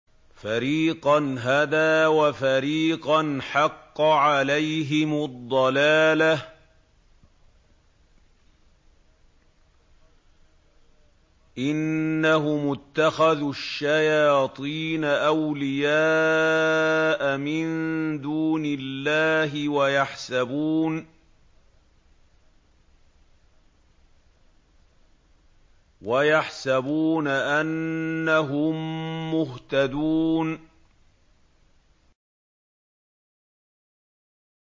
فَرِيقًا هَدَىٰ وَفَرِيقًا حَقَّ عَلَيْهِمُ الضَّلَالَةُ ۗ إِنَّهُمُ اتَّخَذُوا الشَّيَاطِينَ أَوْلِيَاءَ مِن دُونِ اللَّهِ وَيَحْسَبُونَ أَنَّهُم مُّهْتَدُونَ